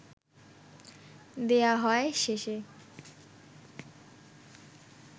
দেয়া হয় শেষে